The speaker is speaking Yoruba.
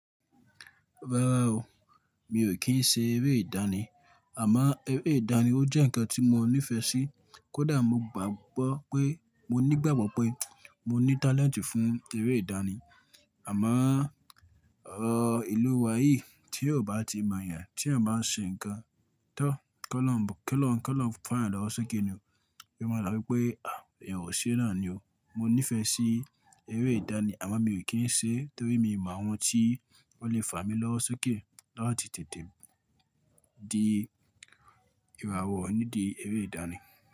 Rárá o, mi ò kí ń ṣe eré ìdáni, àmọ́ eré ìdáni ó jẹ́ ǹkan tí mo nífẹ̀ẹ́ sí. Kódà mo gbàgbọ́ pé mo nígbàgbọ́ pé mo ní talent fún eré ìdánì. Àmọ́, ọ, ìlú wa yìí tí yàn ò bá ti mọ̀ yàn, tí yàn bá ń ṣe ǹkan, tọ́, k'Ọ́lọ́run, k'Ọ́lọ́run, k'Ọ́lọ́run fà yàn lọ́wọ́ sókè ni ò, ṣe ló ma dàbí wípé, "à, ènìyàn ò ṣé náà ni ò." Mo nífẹ̀ẹ́ sí eré ìdáni àmọ́ mi ò kí ń ṣe é torí mi ì m'àwọn tí wọ́n le fà mí lọ́wọ́ sókè láì tètè di ìràwọ̀ nídìí eré ìdáni.